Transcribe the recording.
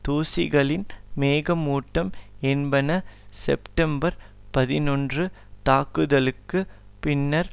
தூசிகளின் மேகமூட்டம் என்பன செப்டம்பர் பதினொன்று தாக்குதளுக்கு பின்னர்